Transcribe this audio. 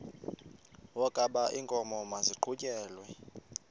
wokaba iinkomo maziqhutyelwe